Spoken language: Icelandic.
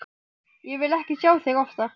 Ég vil ekki sjá þig oftar.